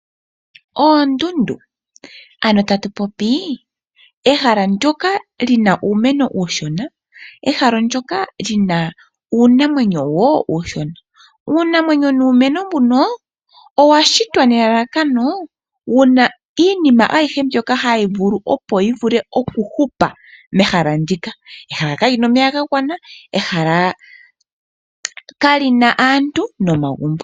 Oondundu, ano tatu popi ehala ndyoka li na uumeno uushona, ehala ndyoka li na uunamwenyo wo uushona. Uunamwenyo nuumeno mbuno, owa shitwa nelalakano wu na iinima ayihe mbyoka hawu vulu opo yi vule okuhupa mehala ndika. Ehala kali na omeya ga gwana, ehala kali na aantu nomagumbo.